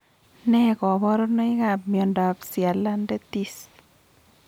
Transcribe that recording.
Nee kaparunoik ap miondap sialadentis?